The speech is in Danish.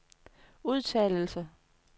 udtalelse